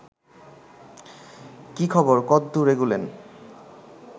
কী খবর কদ্দুর এগোলেন